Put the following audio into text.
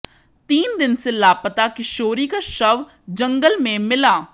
तीन दिन से लापता किशोरी का शव जंगल में मिला